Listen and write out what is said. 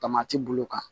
Tamati bulu kan